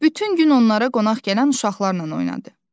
Bütün gün onlara qonaq gələn uşaqlarla oynadı.